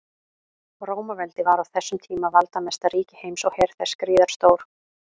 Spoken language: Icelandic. Rómaveldi var á þessum tíma valdamesta ríki heims og her þess gríðarstór.